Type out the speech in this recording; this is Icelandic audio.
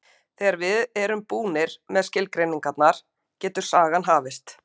Þegar við erum búnir með skilgreiningarnar getur sagan hafist.